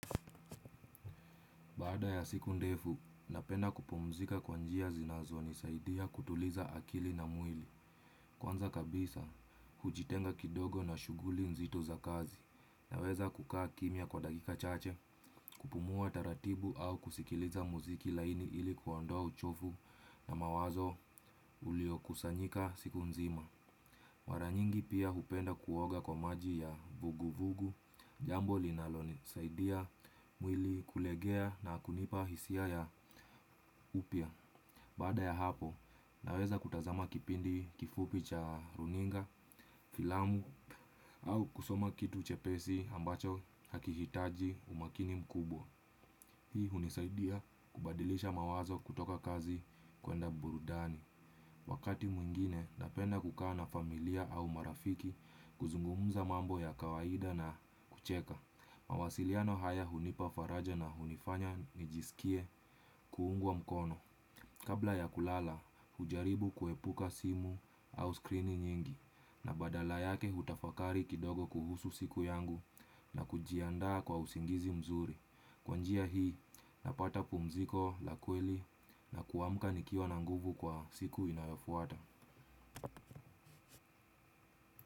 Baada ya siku ndefu, napenda kupumzika kwanjia zinazoni, saidia kutuliza akili na mwili. Kwanza kabisa hujitenga kidogo na shuguli nzito za kazi naweza kukaa kimya kwa dakika chache kupumua taratibu au kuskiliza muziki laini ili kuondoa uchovu na mawazo uliokusanyika siku nzima ma ra nyingi pia hupenda kuoga kwa maji ya vugu vugu jambo linalo nisaidia mwili kulegea na kunipa hisia ya upya. Baada ya hapo naweza kutazama kipindi kifupi cha runinga, filamu au kusoma kitu chepesi ambacho hakihitaji umakini mkubwa. Hii hunisaidia kubadilisha mawazo kutoka kazi kwenda burudani. Wakati mwingine, napenda kukaana familia au marafiki kuzungumuza mambo ya kawaida na kucheka. Mawasiliano haya hunipafaraja na hunifanya nijisikie kuungwa mkono. Kabla ya kulala, hujaribu kuepuka simu au screeni nyingi. Na badala yake hutafakari kidogo kuhusu siku yangu na kujiandaa kwa usingizi mzuri. Kwanjia hii napata pumziko la kweli na kuamka nikiwa na nguvu kwa siku inayofuata.